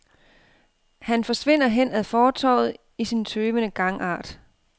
Han forsvinder hen ad fortovet i sin tøvende gangart.